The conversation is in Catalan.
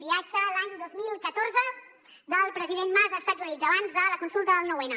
viatge l’any dos mil catorze del president mas a estats units abans de la consulta del nou n